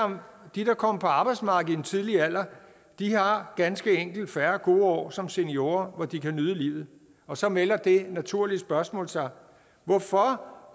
de der kom på arbejdsmarkedet i en tidlig alder har ganske enkelt færre gode år som seniorer hvor de kan nyde livet og så melder det naturlige spørgsmål sig hvorfor